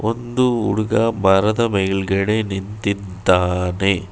ಒಂದು ಹುಡುಗ ಮರದ ಮೇಲ್ಗಡೆ ನಿಂತಿದ್ದಾನೆ.